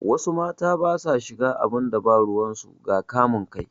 Wasu mata basa shiga abinda babu ruwan su ga kamun kai